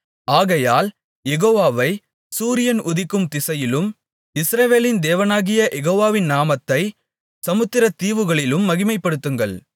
ஆகையால் யெகோவாவை சூரியன் உதிக்கும் திசையிலும் இஸ்ரவேலின் தேவனாகிய யெகோவாவின் நாமத்தைச் சமுத்திரத் தீவுகளிலும் மகிமைப்படுத்துங்கள்